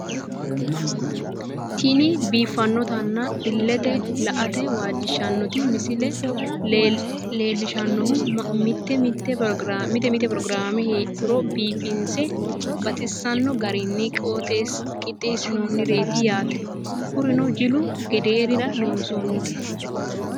Tini biifanotina ilete la'ate waajishanoti misile lelishanohu mite mite progirame heedhuro biifinisena baxisano garini qixesinanireti yaate kurino jilu gederira loonisonite